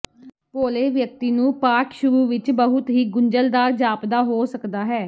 ਭੋਲੇ ਵਿਅਕਤੀ ਨੂੰ ਪਾਠ ਸ਼ੁਰੂ ਵਿੱਚ ਬਹੁਤ ਹੀ ਗੁੰਝਲਦਾਰ ਜਾਪਦਾ ਹੋ ਸਕਦਾ ਹੈ